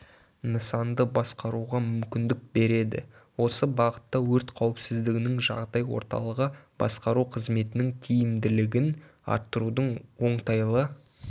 нысанды басқаруға мүмкіндік береді осы бағытта өрт қауіпсіздігінің жағдай орталығы басқару қызметінің тиімділігін арттырудың оңтайлы